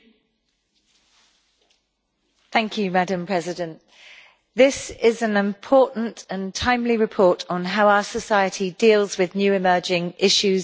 Madam President, this is an important and timely report on how our society deals with new emerging issues of safety and security online.